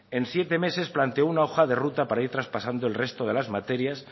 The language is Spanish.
en siete meses planteó una hoja de ruta para ir traspasando el resto de las materias